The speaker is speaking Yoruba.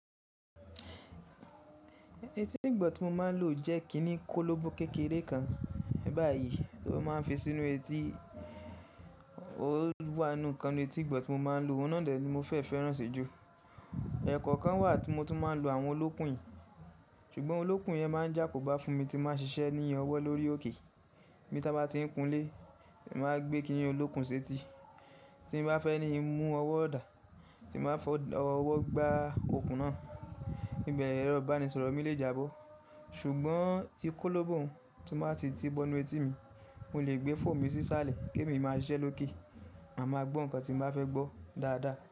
Etí ìgbọ tì mọ má n lo jẹ kínní kólóbó kékeré kan báyìí tó má n fi sínú etí, ó wá nu kan ní etí gbọ̀ntì mọ má n lo, ọ̀nà dẹ̀ ní mọ fẹ́ fẹ́rán ṣí jù. Ẹ̀ẹ̀kọ̀ kàn wà tí mo tún má n lo àwọn olókùn yì, ṣùgbọ́n olókùn yẹn má n jẹ àkó bá fún mi tí mọ ṣiṣẹ́ ní ọwọ́ lórí òkè. Bí tá bá ti n kunlé, è má a gbé kínní olókùn séti. Tí n bá fẹ́ ní mú ọwọ́ dà, tí n má fọ ọwọ́ gbá okùn náà, níbẹ̀ ẹ̀rọ ìbánisọ̀rọ̀ mi lè jábọ́. Ṣùgbọ́n tí kólóbó hun ti má b ti tí bọ́ inú etí mi, mo lè gbé fóòmù ṣíṣálẹ̀ ki èmi máa ṣiṣẹ́ lókè, a máa gbọ́ nǹkan tí n máa fẹ́ gbọ́ dáadáa.